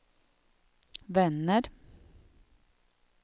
vänner